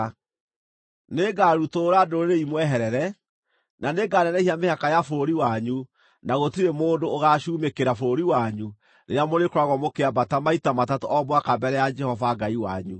Nĩngarutũrũra ndũrĩrĩ imweherere, na nĩnganenehia mĩhaka ya bũrũri wanyu na gũtirĩ mũndũ ũgaacumĩkĩra bũrũri wanyu rĩrĩa mũrĩkoragwo mũkĩambata maita matatũ o mwaka mbere ya Jehova Ngai wanyu.